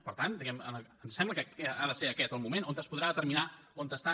per tant ens sembla que ha de ser aquest el moment on es podrà determinar on està